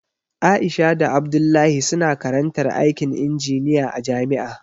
Aisha da Abdullahi suna karantar aikin injiniya a jami'a